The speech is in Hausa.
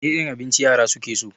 Wane irin abinci yara su ke so?